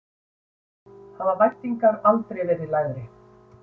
Hafa væntingarnar aldrei verið lægri?